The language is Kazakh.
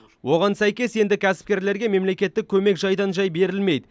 оған сәйкес енді кәсіпкерлерге мемлекеттік көмек жайдан жай берілмейді